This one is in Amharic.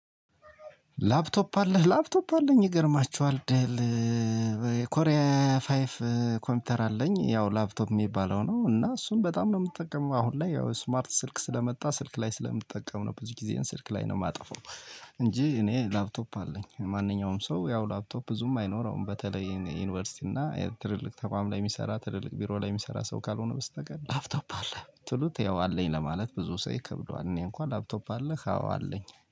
ላፕቶፕ አለህ ላፕቶፕ አለኝ ይገርማችኋል ደል። ኮሪያ ፋይፍ ኮምፒውተር አለኝ ያው ላፕቶፕ ሚባለው ነው። እና እሱን በጣም ነው ምትጠቀመው አሁን ላይ ያው ስማርት ስልክ ስለመጣ ስልክ ላይ ስለምጠቀም ነው። ብዙ ጊዜየን ስልክ ላይ ነው ማጠፋው። እንጂ እኔ ላፕቶፕ አለኝ። ማንኛውም ሰው ያው ላፕቶፕ ብዙም አይኖረውም በተለይ ዩኒቨርሲቲ እና ትልልቅ ተቋም ላይ ሚሰራ ትልልቅ ቢሮ ላይ ሚሰራ ሰው ካልሆነ በስተቀር ላፍቶፕ አለህ ስትሉት ያው አለኝ ለማለት ብዙ ሰው ይከብደዋል። እኔ እንኳን ላፕቶፕ አለህ? አዎ አለኝ